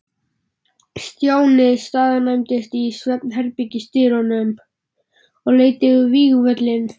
Stjáni staðnæmdist í svefnherbergisdyrunum og leit yfir vígvöllinn.